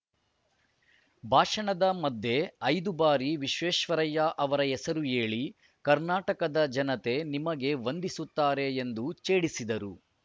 ಭಾಷಣದ ಮಧ್ಯೆ ಐದು ಬಾರಿ ವಿಶ್ವೇಶ್ವರಯ್ಯ ಅವರ ಹೆಸರು ಹೇಳಿ ಕರ್ನಾಟಕದ ಜನತೆ ನಿಮಗೆ ವಂದಿಸುತ್ತಾರೆ ಎಂದು ಛೇಡಿಸಿದರು